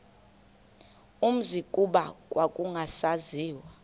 umzi kuba kwakungasaziwa